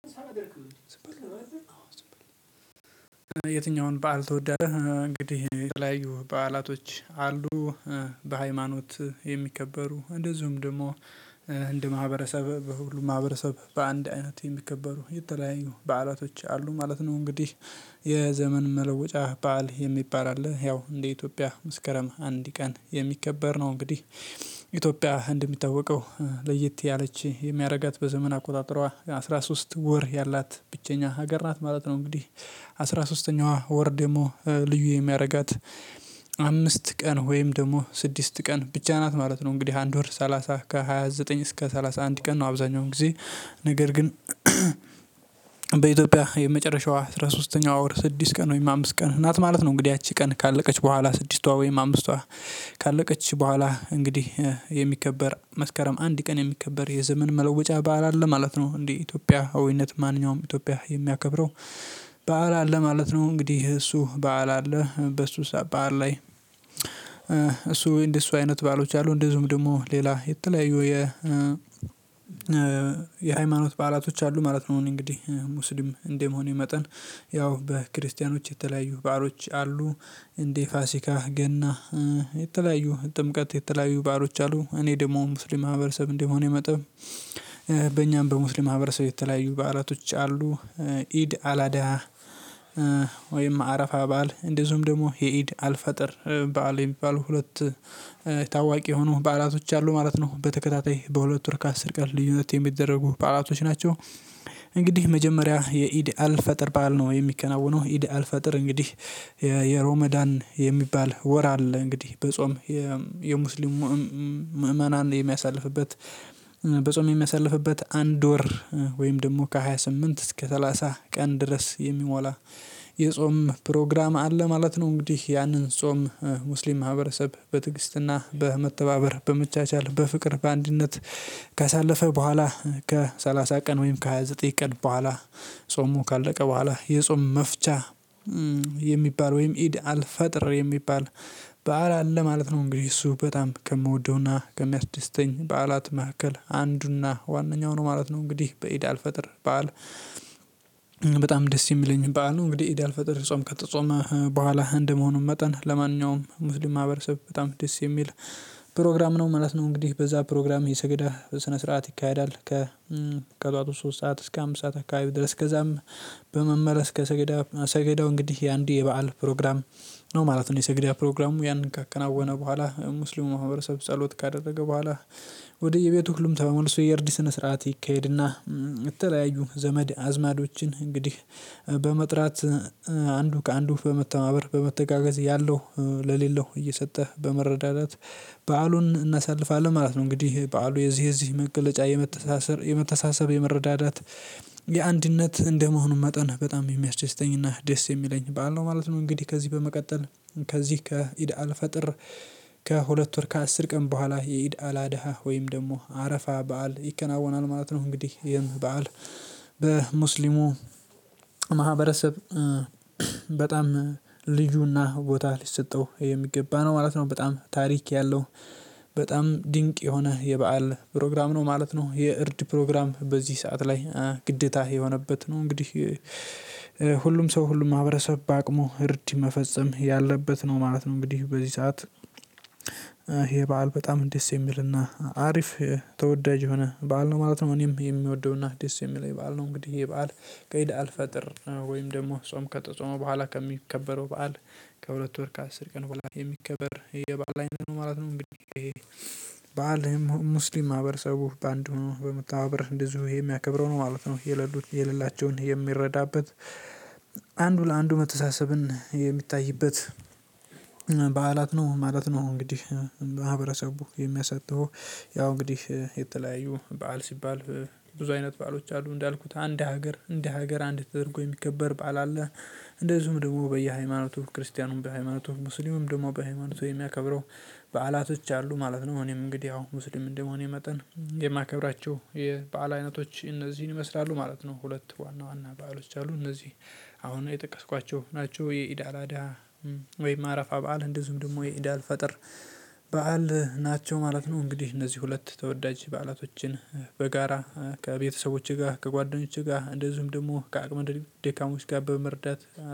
ዝበሉ አዎ ዝምበሉ የትኛውን በዓል ትወዳለህ? እንግዲህ የተለያዩ በዓላቶች አሉ በሃይማኖት የሚከበሩ እንደዚሁም ደግሞ እንድ ማህበረሰብ በሁሉም ማህበረሰብ በአንድ አይነት የሚከበሩ የተለያዩ በዓላቶች አሉ ማለት ነው። እንግዲህ የዘመን መለወጫ በዓል የሚባል አለ ያው እንደ ኢትዮጵያ መስከረም አንድ ቀን የሚከበር ነው። እንግዲህ ኢትዮጵያ እንደሚታወቀው ለየት ያለች የሚያደርጋት በዘመን አቆጣጠሯ አስራ ሶስት ወር ያላት ብቸኛ ሀገር ናት ማለት ነው። እንግዲህ አስራ ሶስተኛዋ ወር ደግሞ ልዩ የሚያረጋት አምስት ቀን ወይም ደግሞ ስድስት ቀን ብቻ ናት ማለት ነው። እንግዲህ አንድ ወር ሰላሳ ከሃያ ዘጠኝ እስከ ሰላሳ አንድ ቀን ነው። አብዛኛውን ጊዜ ነገር ግን በኢትዮጵያ የመጨረሻዋ አስራ ሶስተኛው ወር ስድስት ቀን ወይም አምስት ቀን ናት ማለት ነው። እንግዲህ ያቺ ቀን ካለቀች በኋላ ስድስቷ ወይም አምስቷ ካለቀች በኋላ እንግዲህ የሚከበር መስከረም አንድ ቀን የሚከበር የዘመን መለወጫ በዓል አለ ማለት ነው። እንደ ኢትዮጵያዊይነት ማንኛውም ኢትዮጵያ የሚያከብረው በዓል አለ ማለት ነው። እንግዲህ እሱ በዓል አለ በሱ በዓል ላይ እሱ እንደሱ አይነት በዓሎች አሉ። እንደዚሁም ደግሞ ሌላ የተለያዩ የ የሃይማኖት በዓላቶች አሉ ማለት ነው። እንግዲህ ሙስሊም እንደ መሆኔ መጠን ያው በክርስቲያኖች የተለያዩ ባአሎች አሉ። እንዴ ፋሲካ ገና የተለያዩ ጥምቀት የተለያዩ ባአሎች አሉ። እኔ ደግሞ ሙስሊም ማህበረሰብ እንደመሆኔ መጠን በእኛም በሙስሊም ማህበረሰብ የተለያዩ በዓላቶች አሉ። ኢድ አላዳሀ ወይም አረፋ በዓል እንደዚሁም ደግሞ የኢድ አልፈጥር በዓል የሚባሉ ሁለት ታዋቂ የሆኑ በዓላቶች አሉ ማለት ነው። በተከታታይ በሁለቱ ወር ከአስር ቀን ልዩነት የሚደረጉ በዓላቶች ናቸው። እንግዲህ መጀመሪያ የኢድ አልፈጥር በዓል ነው የሚከናወነው ኢድ አልፈጥር እንግዲህ የሮመዳን የሚባል ወር አለ። እንግዲህ በጾም የሙስሊሙ ምዕመናን የሚያሳልፍበት በጾም የሚያሳልፍበት አንድ ወር ወይም ደግሞ ከሃያ ስምንት እስከ ሰላሳ ቀን ድረስ የሚሞላ የጾም ፕሮግራም አለ ማለት ነው። እንግዲህ ያንን ጾም ሙስሊም ማህበረሰብ በትግስትና በመተባበር በመቻቻል በፍቅር በአንድነት ካሳለፈ በኋላ ከሰላሳ ቀን ወይም ከሃያ ዘጠኝ ቀን በኋላ ጾሙ ካለቀ በኋላ የጾም መፍቻ የሚባል ወይም ኢድ አልፈጥር የሚባል በዓል አለ ማለት ነው። እንግዲህ እሱ በጣም ከምወደውና ከሚያስደስተኝ በዓላት መካከል አንዱና ዋነኛው ነው ማለት ነው። እንግዲህ በኢዳ አልፈጥር በዓል በጣም ደስ የሚለኝ በዓል ነው። እንግዲህ ኢድ አልፈጥር ጾም ከተጾመ በኋላ አንደ መሆኑን መጠን ለማንኛውም ሙስሊም ማህበረሰብ በጣም ደስ የሚል ፕሮግራም ነው ማለት ነው። እንግዲህ በዛ ፕሮግራም የሰገዳ ስነ ስርዓት ይካሄዳል ከ ከጠዋቱ ሶስት ሰዓት እስከ አምሳት ሰዓት አካባቢ ድረስ ገዛም በመመለስ ከሰገዳው ሰገዳው እንግዲህ የአንዴ የበአል ፕሮግራም ነው ማለት ነው። የሰገዳ ፕሮግራሙ ያንን ካከናወነ በኋላ ሙስሊም ማህበረሰብ ጸሎት ካደረገ በኋላ። ወደ እየ ቤቱ ሁሉም ተመልሶ የእርድ ስነ ስርዓት ይካሄድና የተለያዩ ዘመድ አዝማዶችን እንግዲህ በመጥራት አንዱ ከአንዱ በመተባበር በመተጋገዝ ያለው ለሌለው እየሰጠ በመረዳዳት በዓሉን እናሳልፋለን ማለት ነው። እንግዲህ በዓሉ የዚህ የዚህ መገለጫ የመተሳሰር የመተሳሰብ የመረዳዳት የአንድነት እንደመሆኑ መጠን በጣም የሚያስደስተኝና ደስ እሚለኝ በዓል ነው ማለት ነው። እንግዲህ ከዚህ በመቀጠል ከዚህ ከኢድአል ፈጥር ከሁለት ወር ከአስር ቀን በኋላ የኢድአል አደሃ ወይም ደግሞ አረፋ በዓል ይከናወናል ማለት ነው። እንግዲህ ይህም በዓል በሙስሊሙ ማህበረሰብ በጣም ልዩና ቦታ ሊሰጠው የሚገባ ነው ማለት ነው። በጣም ታሪክ ያለው በጣም ድንቅ የሆነ የበአል ፕሮግራም ነው ማለት ነው። የእርድ ፕሮግራም በዚህ ሰዓት ላይ ግዴታ የሆነበት ነው እንግዲህ። ሁሉም ሰው ሁሉም ማህብረሰብ በአቅሙ እርድ መፈጸም ያለበት ነው ማለት ነው። እንግዲህ በዚህ ሰዓት ይሄ በዓል በጣም ደስ የሚልና አሪፍ ተወዳጅ የሆነ በዓል ነው ማለት ነው። እኔም የምወደውና ደስ እሚለኝ የበአል ነው። እንግዲህ ይሄ በዓል ከኢድ አልፈጥር ወይም ደግሞ ጾም ከተጾመ በኋላ ከሚከበረው በዓል ከሁለት ወር ከአስር ቀን በኋላ የሚከበር የባዓል አይነት ነው ማለት ነው። እንግዲህ ይሄ በዓል ሙስሊም ማህበረሰቡ በአንዱ ሆኖ በመተባበር እንደዚሁ የሚያከብረው ነው ማለት ነው። የሌላቸውን የሚረዳበት አንዱ ለአንዱ መተሳሰብን የሚታይበት በዓላት ነው ማለት ነው። እንግዲህ ማህበረሰቡ የሚያሳልፈው ያው እንግዲህ የተለያየ በዓል ሲባል ብዙ አይነት በዓሎች አሉ እንዳልኩት አንድ ሀገር እንደ ሀገር አንድ ተደርጎ የሚከበር ባዓል አለ። እንደዚሁም ደግሞ በየሃይማኖቱ ክርስቲያኑም በሃይማኖቱ ሙስሊሙም ደግሞ በሃይማኖቱ የሚያከብረው በዓላቶች አሉ ማለት ነው። እኔም እንግዲህ ያው ሙስሊም እንደመሆኔ መጠን የማከብራቸው የበአል አይነቶች እነዚህን ይመስላሉ ማለት ነው። ሁለት ዋና ዋና በዓሎች አሉ እነዚህ አሁን የጠቀስኳቸው ናቸው። የኢድ አል አደሀ ወይ አረፋ በዓል እንደዚሁም ደግሞ የኢድአል ፈጠር በዓል ናቸው ማለት ነው። እንግዲህ እነዚህ ሁለት ተወዳጅ በዓላቶችን በጋራ ከቤተሰቦቼ ጋር ከጓደኞቼ ጋር እንደዚሁም ደግሞ ከአቅመ ደካሞች ጋ በመርዳት